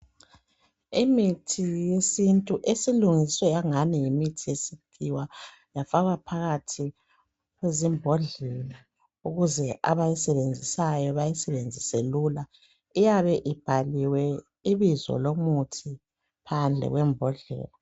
Imithi yesintu esilungiswe yangathi ngeyesikhiwa yafakwa phakathi kwamambodlela ukuze abayisebenzisayo bayisebenzise lula. iyabe ibhaliwe ibizo lomuthi phandle kwembodlela.